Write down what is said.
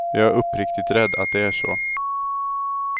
Jag är uppriktigt rädd att det är så.